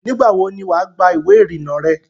Nígbàwo ni wà á gba ìwé ìrìnnà rẹ?